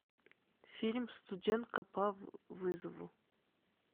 фильм студентка по вызову